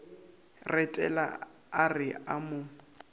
retela a re a mo